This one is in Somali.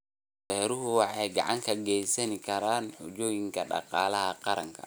Beeruhu waxay gacan ka geysan karaan xoojinta dhaqaalaha qaranka.